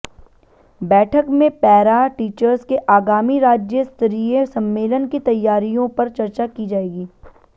बैठक में para teachers के आगामी राज्य स्तरीय सम्मेलन की तैयारियों पर चर्चा की जाएगी